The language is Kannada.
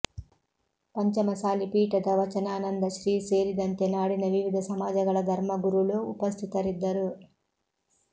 ಪಂಚಮಸಾಲಿ ಪೀಠದ ವಚನಾನಂದ ಶ್ರೀ ಸೇರಿದಂತೆ ನಾಡಿನ ವಿವಿಧ ಸಮಾಜಗಳ ಧರ್ಮಗುರುಳು ಉಪಸ್ಥಿತರಿದ್ದರು